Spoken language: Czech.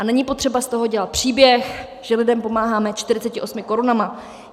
A není potřeba z toho dělat příběh, že lidem pomáháme 48 korunami.